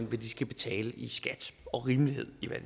hvad de skal betale i skat og rimelighed i hvad